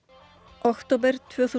október tvö þúsund